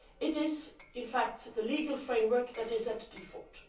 It is in fact the legal framework that is in default.